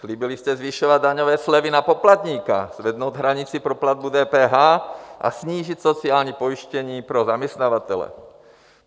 Slíbili jste zvyšovat daňové slevy na poplatníka, zvednout hranici pro platbu DPH a snížit sociální pojištění pro zaměstnavatele.